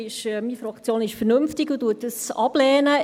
Meine Fraktion ist vernünftig und lehnt das ab.